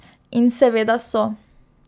In seveda so.